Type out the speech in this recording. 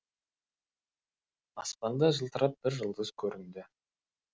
аспанда жылтырап бір жұлдыз көрінді